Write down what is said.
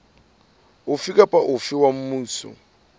ofe kapa ofe wa mmuso